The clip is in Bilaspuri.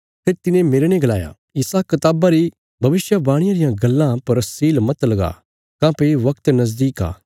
फेरी तिने मेरने गलाया इसा कताबा री भविष्यवाणिया रियां गल्लां पर सील मत लगा काँह्भई वगत नजदीक आ